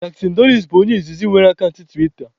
Jack Dorsi bụ onye izizi nwere akant tiwita